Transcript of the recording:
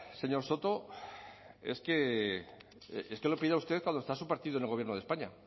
señor soto es que lo pida usted cuando está su partido en el gobierno de españa